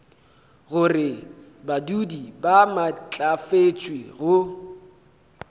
gore badudi ba maatlafatšwe go